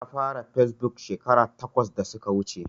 Na fara yin fesbuk shekara takwas da suka wuce.